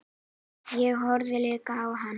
Ég horfði líka á hana.